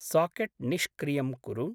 Socket निष्क्रियं कुरु।